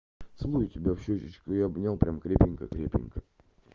целую тебя в щёчечку и обнял прямо крепенько крепенько